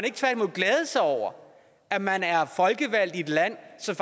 ikke tværtimod glæde sig over at man er folkevalgt i et land som